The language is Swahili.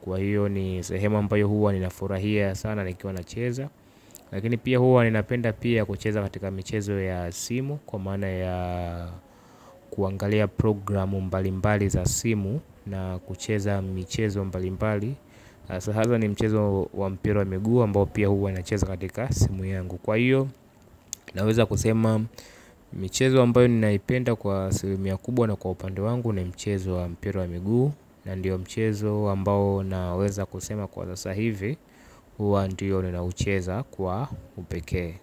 Kwa hiyo ni sehemu ambayo huwa ninafurahia sana nikiwa nacheza. Lakini pia huwa ninapenda pia kucheza katika michezo ya simu. Kwa maana ya kuangalia programu mbalimbali za simu na kucheza michezo mbalimbali hasa haswa ni mchezo wa mpira wa miguu ambao pia huwa nacheza katika simu yangu. Kwa hiyo naweza kusema michezo ambayo ninaipenda kwa asilimia kubwa na kwa upande wangu ni mchezo wa mpira wa miguu na ndiyo mchezo ambao naweza kusema kwa sasa hivi hua ndiyo ninaucheza kwa upekee.